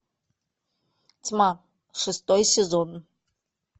тьма шестой сезон